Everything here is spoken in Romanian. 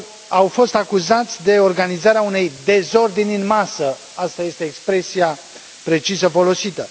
Au fost acuzați de organizarea unei dezordini în masă aceasta este expresia precisă folosită.